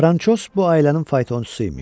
Franşoz bu ailənin faytonçusu imiş.